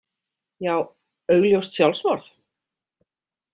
Já, augljóst sjálfsmorð?